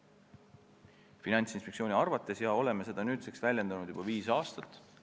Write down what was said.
Selline on Finantsinspektsiooni arvamus, mida me oleme nüüdseks väljendanud juba viis aastat.